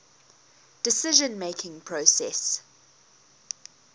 decision making process